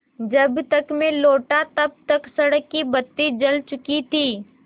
जब तक मैं लौटा तब तक सड़क की बत्ती जल चुकी थी